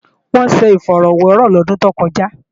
Wọ́n ṣe ifọ̀rọ́wẹrọ̀ lọ́dún tó kọjá